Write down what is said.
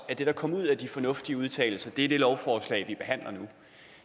at det der kom ud af de fornuftige udtalelser er det lovforslag vi behandler nu